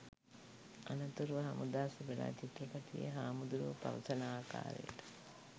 අනතුරුව හමුදා සෙබලා චිත්‍රපටයේ හාමුදුරුවෝ පවසන ආකාරයට